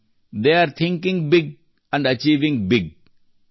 they are thinking big and achieving big